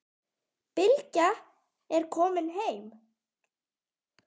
Bylgja er komin heim.